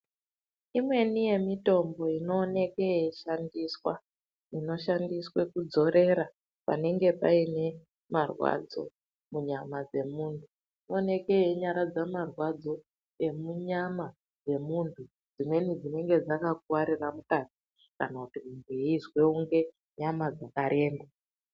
Imweni yemitombo inoonekwe yeishandiswa, inoshandiswa kudzorera panenge paine marwadzo munyama dzemunhu oneke yeinyaradza marwadzo emunyama emunhu dzimweni dzinonga dzakakuwarire mukati kana kuti munhu eizwe kunge nyama dzakaremba.